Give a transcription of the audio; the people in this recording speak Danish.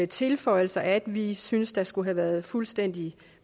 tilføjelser at vi synes der skulle have været fuldstændig